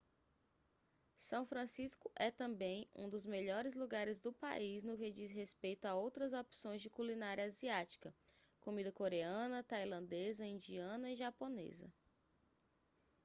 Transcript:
são francisco é também um dos melhores lugares do país no que diz respeito a outras opções de culinária asiática comida coreana tailandesa indiana e japonesa